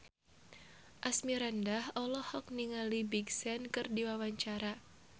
Asmirandah olohok ningali Big Sean keur diwawancara